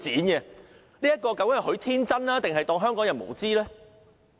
究竟他是天真，還是當香港人無知？